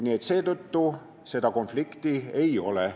Nii et seetõttu seda konflikti siin ei ole.